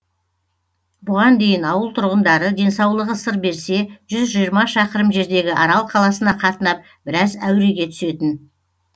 бұған дейін ауыл тұрғындары денсаулығы сыр берсе шақырым жердегі арал қаласына қатынап біраз әуреге түсетін